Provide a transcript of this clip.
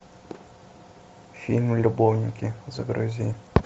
фильм любовники загрузи